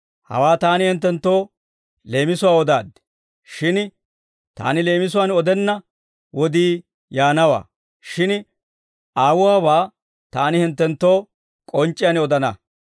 «Hawaa Taani hinttenttoo leemisuwaan odaaddi; shin Taani leemisuwaan odenna wodii yaanawaa; shin Aawuwaabaa Taani hinttenttoo k'onc'c'iyaan odana.